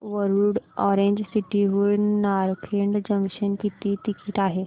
Warud orange city हून Narkhed junction किती ticket आहे